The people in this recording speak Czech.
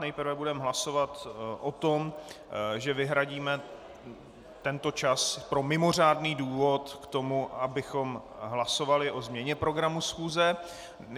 Nejprve budeme hlasovat o tom, že vyhradíme tento čas pro mimořádný důvod k tomu, abychom hlasovali o změně programu schůze.